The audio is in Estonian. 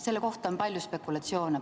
Selle kohta on palju spekulatsioone.